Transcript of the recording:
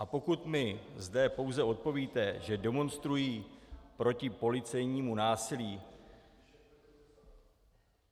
A pokud mi zde pouze odpovíte, že demonstrují proti policejnímu násilí...